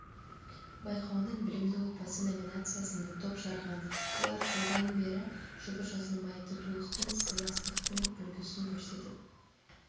байқауының білімді отбасы номинациясында топ жарған олар жылдан бері жұбы жазылмай татулықтың сыйластықтың үлгісін көрсетіп